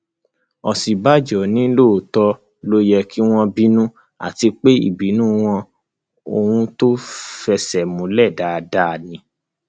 òsínbàjò ní lóòótọ ló yẹ kí wọn bínú àti pé ìbínú wọn ohun tó fẹsẹ múlẹ dáadáa ni